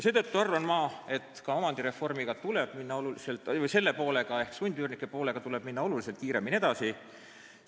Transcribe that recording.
Seetõttu arvan ma, et ka omandireformi selle poolega ehk sundüürnike poolega tuleb kiiremini edasi minna.